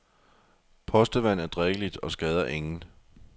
Postevand er drikkeligt og skader ingen.